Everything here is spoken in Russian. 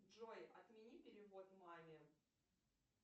джой отмени перевод маме